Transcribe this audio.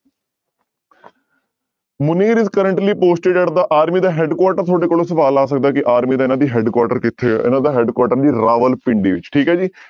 Munir is currently posted at the army ਦਾ headquarter ਤੁਹਾਡੇ ਕੋਲ ਸਵਾਲ ਆ ਸਕਦਾ ਹੈ ਕਿ army ਦਾ ਇਹਨਾਂ ਦੀ headquarter ਕਿੱਥੇ ਹੈ ਇਹਨਾਂ ਦਾ headquarter ਰਾਵਲਪਿੰਡੀ ਵਿੱਚ ਠੀਕ ਹੈ ਜੀ